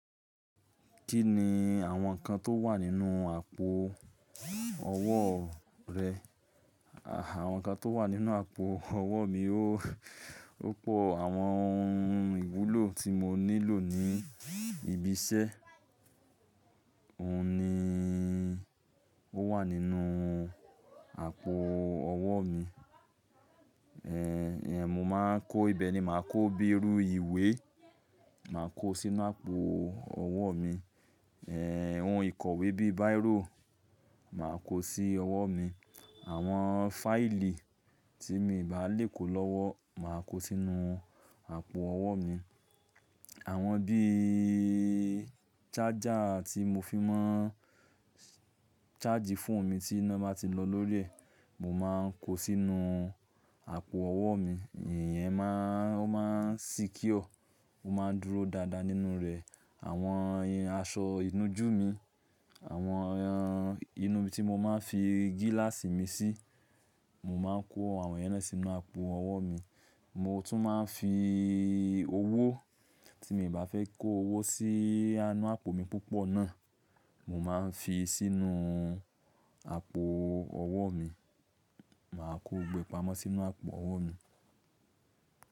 Kí ni àwọn nǹkan tó wà nínú àpò ọwọ́ rẹ? Àwọn nǹkan tó wà nínú àpò ọwọ́ mi, ó pọ̀. Àwọn ohun ìwúlò tí mo nílò ní ibi iṣẹ́, òun ni ó wà nínú àpò ọwọ́ mi. Ẹ̀ẹ̀, ìyẹn mo máa ń kó ibẹ̀ ni, màá kó bíi irú ìwé, màá kó sí inú àpò ọwọ́ mi. Ẹ̀ẹ̀, ohun ìkọ̀wé bíi Bíráò, màá kó sí ọwọ́ mi. Àwọn fáìlì tí mi bá lè kó lọ́wọ́, màá kó sínú àpò ọwọ́ mi. Àwọn bí i ṣájà tí mo fi máa ń ṣájì fóònù mi tí iná bá ti lọ lórí rẹ̀, mo máa ń kó sínú àpò ọwọ́ mi. Ìyẹn máa ń, ó máa ń secure, ó máa ń dúró dáadáa nínú rẹ̀. Àwọn aṣọ ìnújú mi, àwọn inú tí mo máa ń fi gíláàsì mi sí, mo máa ń kó àwọn yẹ́n náà sínú àpò ọwọ́ mi. Mo tún máa ń fi owó tí mi bá fẹ́ kó owó sí inú àpò mi púpọ̀ náà, mo máa ń fi sínú àpò ọwọ́ mi. Màá kó gbogbo e ipamo sínú àpò ọwọ́ mi.